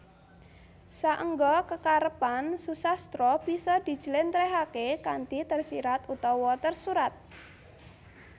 Saengga kekarepan susastra bisa dijlèntrèhaké kanthi tersirat utawa tersurat